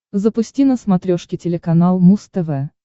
запусти на смотрешке телеканал муз тв